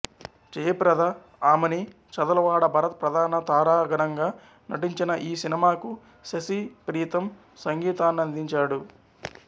జయప్రద ఆమని చదలవాడ భరత్ ప్రధాన తారాగణంగా నటించిన ఈ సినిమాకు శశి ప్రీతం సంగీతాన్నందించాడు